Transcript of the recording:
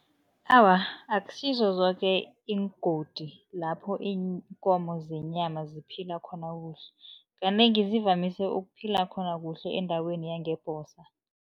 Awa, akusizo zoke iingodi lapho iinkomo zenyama ziphila khona kuhle. Kanengi zivamise ukuphila khona kuhle endaweni yangebhosa.